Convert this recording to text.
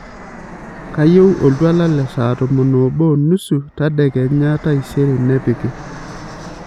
kayieu oltwala le saa tomon obo onusu tadekenya taisere nepiki